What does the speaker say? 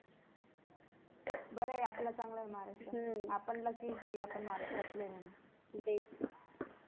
बर आहे आपला चांगला आहे महाराष्ट्र आपण lucky आहे की आपण महाराष्ट्रातलं आहे म्हणून